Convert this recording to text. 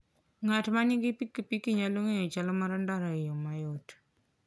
Ng'at ma nigi pikipiki nyalo ng'eyo chal mar ndara e yo mayot.